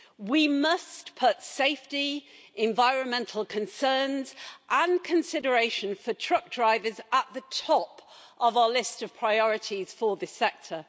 We must put safety, environmental concerns and consideration for truck drivers at the top of our list of priorities for this sector.